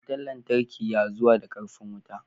Wutan lantarki ya zuwa da karfin wuta.